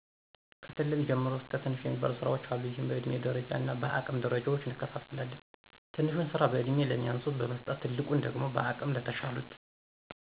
ከትልቅ ጀምሮ ትንሽ እስከሚባሉ ስራዎች አሉ ይህም በእድሜ ደረጃ እና በአቅም ደረጃዎች እንከፋፈላለን። ትንሹን ስራ በእድሜ ለሚያንሱት በመስጠት ትልቁን ደግሞ በአቅም ለተሻሉት።